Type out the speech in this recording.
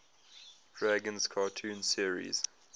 dragons cartoon series